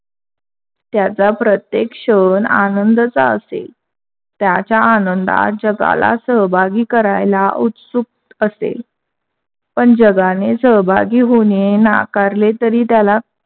त्याचा प्रत्येक क्षण आनंदांचा असेल. त्याच्या आनंदात जगाला सहभागी करायला उत्सुक असेल, पण जगाने सहभागी होणे नाकारले तरी त्याला